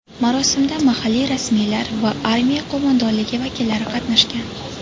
Marosimda mahalliy rasmiylar va armiya qo‘mondonligi vakillari qatnashgan.